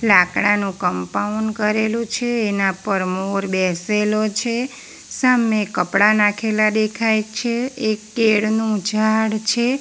લાકડાનું કમ્પાઉન્ડ કરેલું છે એના પર મોર બેસેલો છે સામે કપડા નાખેલા દેખાય છે એક કેળ નું ઝાડ છે.